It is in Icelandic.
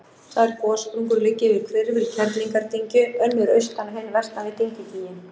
Tvær gossprungur liggja yfir hvirfil Kerlingardyngju, önnur austan og hin vestan við dyngjugíginn.